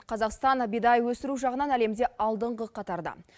қазақстан бидай өсіру жағынан әлемде алдыңғы қатарда